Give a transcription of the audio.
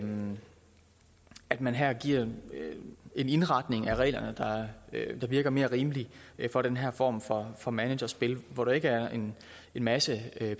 at man her giver en indretning af reglerne der virker mere rimelig for den her form for for managerspil hvor der ikke er en masse